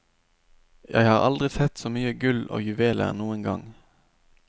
Jeg har aldri sett så mye gull og juveler noen gang.